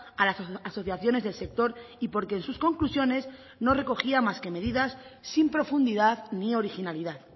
a las asociaciones del sector y porque en sus conclusiones no recogía más que medidas sin profundidad ni originalidad